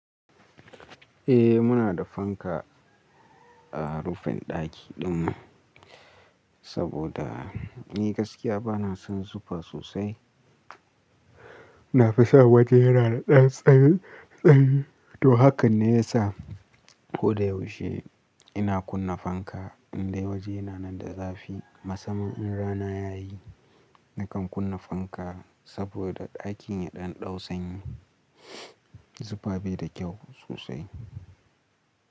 Eh muna da fanka a rufin ɗaki ɗinmu saboda ni gaskiya bana son zufa sosai. Na fi san waje yana da ɗan sanyi, sanyi. To hakan ne ya sa ko da yaushe ina kunna fanka in dai waje yana nan da zafi. Masamman in rana yayi nakan kunna fanka saboda ɗakin ya ɗan ɗau sanyi. Zufa bai da kyau sosai.